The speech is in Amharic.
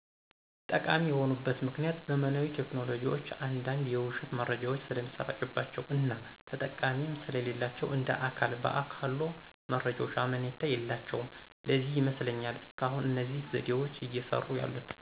ጠቃሚ የሆኑበት ምክኒያት ዘመናዊ ቴክኖሎጂዎች አንዳንድ የዉሸት መረጃዎች ስለሚሰራጭባቸዉ እና ተጠያቂም ስለሌላቸዉ እንደ አካል በአካሎ መረጃዎች አመኔታ የላቸዉም ለዚህ ይመስለኛል እስካሁን እነዚህ ዘዴዎች እየሰሩ ያሉት።